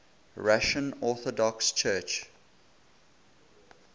russian orthodox church